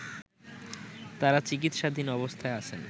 তারা চিকিৎসাধীন অবস্থায় আছেন